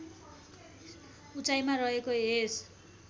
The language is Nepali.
उचाईमा रहेको यस